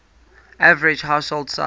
average household size